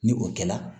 Ni o kɛla